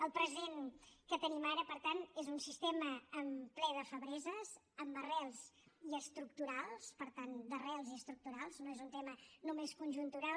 el present que tenim ara per tant és un sistema ple de febleses amb arrels i estructurals per tant d’arrels i estructurals no és un tema només conjuntural